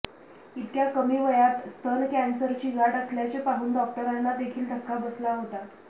इतक्या कमी वयात स्तन कॅन्सरची गाठ असल्याचे पाहून डॉक्टरांनादेखील धक्का बसला होता